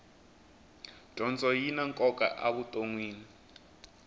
dyondzo yina nkoka avu tonnwini